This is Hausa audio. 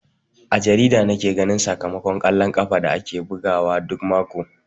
A jarida nake ganin sakamakon kwallon ƙafa da ake bugawa duk mako.